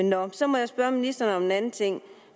nå så må jeg spørge ministeren om en anden ting